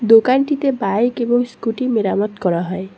দোকানটিতে বাইক এবং স্কুটি মেরামত করা হয়।